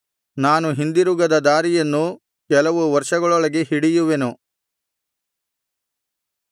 ನಾನು ಹಿಂದಿರುಗದ ದಾರಿಯನ್ನು ಕೆಲವು ವರ್ಷಗಳೊಳಗೆ ಹಿಡಿಯುವೆನು